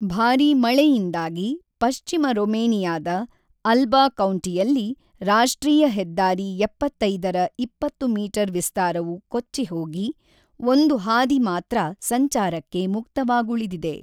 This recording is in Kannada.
ಭಾರೀ ಮಳೆಯಿಂದಾಗಿ ಪಶ್ಚಿಮ ರೊಮೇನಿಯಾದ ಅಲ್ಬಾ ಕೌಂಟಿಯಲ್ಲಿ ರಾಷ್ಟ್ರೀಯ ಹೆದ್ದಾರಿ ಏಪ್ಪತ್ತೈದರ ಇಪ್ಪತ್ತು ಮೀಟರ್‌ ವಿಸ್ತಾರವು ಕೊಚ್ಚಿಹೋಗಿ, ಒಂದು ಹಾದಿ ಮಾತ್ರ ಸಂಚಾರಕ್ಕೆ ಮುಕ್ತವಾಗುಳಿದಿದೆ.